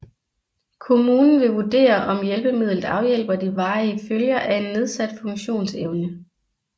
Kommunen vil vurderer om hjælpemidlet afhjælper de varige følger af en nedsat funktionsevne